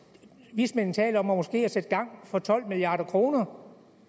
vismændene taler om måske at sætte gang for tolv milliard kroner